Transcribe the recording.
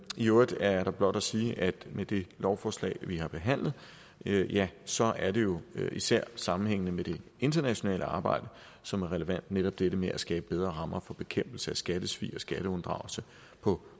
øvrigt er der blot at sige at med det lovforslag vi har behandlet ja så er det jo især sammenhængen med det internationale arbejde som er relevant netop dette med at skabe bedre rammer for bekæmpelse af skattesvig og skatteunddragelse på